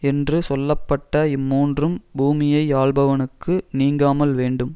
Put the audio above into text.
என்று சொல்ல பட்ட இம்மூன்றும் பூமியை யாள்பவனுக்கு நீங்காமல் வேண்டும்